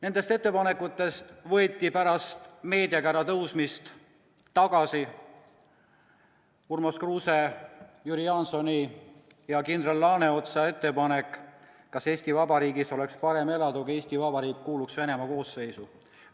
" Nendest ettepanekutest võeti pärast meediakära tõusmist tagasi Urmas Kruuse, Jüri Jaansoni ja kindral Laaneotsa esitatud küsimus "Kas Eesti Vabariigis oleks parem elada, kui Eesti Vabariik kuuluks Venemaa koosseisu?